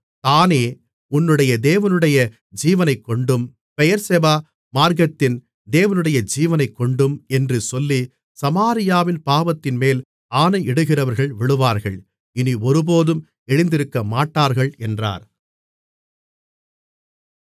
தாணே உன்னுடைய தேவனுடைய ஜீவனைக்கொண்டும் பெயெர்செபா மார்க்கத்தின் தேவனுடைய ஜீவனைக்கொண்டும் என்று சொல்லி சமாரியாவின் பாவத்தின்மேல் ஆணையிடுகிறவர்கள் விழுவார்கள் இனி ஒருபோதும் எழுந்திருக்கமாட்டார்கள் என்றார்